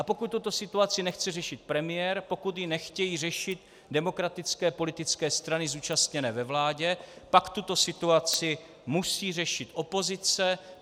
A pokud tuto situaci nechce řešit premiér, pokud ji nechtějí řešit demokratické politické strany zúčastněné ve vládě, pak tuto situaci musí řešit opozice.